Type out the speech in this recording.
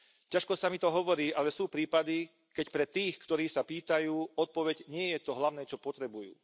Ťažko sa mi to hovorí, ale sú prípady, keď pre tých, ktorí sa pýtajú, odpoveď nie je to hlavné, čo potrebujú.